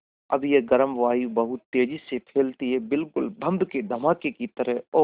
अब यह गर्म वायु बहुत तेज़ी से फैलती है बिल्कुल बम के धमाके की तरह और